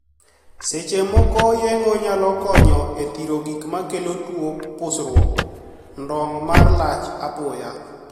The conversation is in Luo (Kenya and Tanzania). Seche moko yeng'o nyalo konyo e thiro gik makelo tuo pusruok (ndong') mar lach apoya.